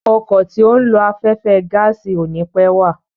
Ọkọ̀ tí ó ń lo afẹ́fẹ́ gáàsì ò ni pẹ́ wà.